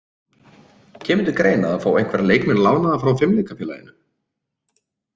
Kemur til greina að fá einhverja leikmenn lánaða frá Fimleikafélaginu?